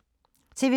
TV 2